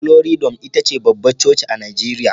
Glory dome ita ce babbar coci a Najeriya